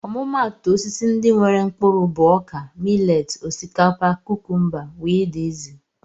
Ọmụmatu Osisi ndị nwéré mkpụrụ bụ ọkà, mileti, osikapa, kúkúmba wdz